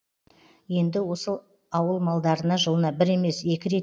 енді осы ауыл малдарына жылына бір емес екі рет